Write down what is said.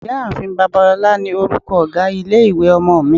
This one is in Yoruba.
Ìyá-ààfin Babalola ni orúkọ ọ̀gá ilé-ìwé ọmọ mi.